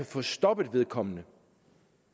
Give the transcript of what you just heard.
få stoppet vedkommende